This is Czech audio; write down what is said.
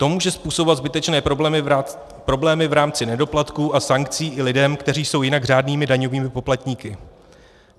To může způsobovat zbytečné problémy v rámci nedoplatků a sankcí i lidem, kteří jsou jinak řádnými daňovými poplatníky.